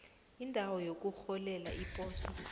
indawo yokurholela iposo